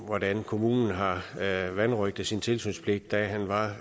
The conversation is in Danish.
hvordan kommunen har vanrøgtet sin tilsynspligt da han var